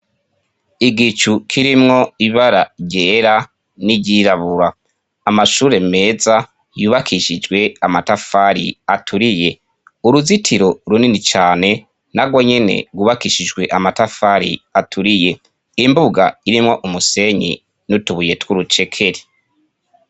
Igicu kirimwo ibara ryera n'iryirabura amashure meza yubakishijwe amatafari aturiye uruzitiro runini cane narwonyene gwubakishijwe amatafari aturiye imbuga irimwo umusenyi n'utubuye tw'urucekeri